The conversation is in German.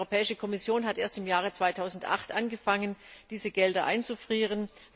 Die Europäische Kommission hat erst im Jahr 2008 angefangen, diese Gelder einzufrieren.